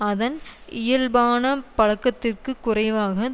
அதன் இயல்பான பலக்கத்திற்கு குறைவாக